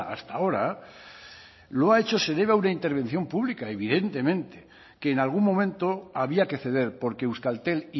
hasta ahora lo ha hecho se debe a una intervención pública evidentemente que en algún momento había que ceder porque euskaltel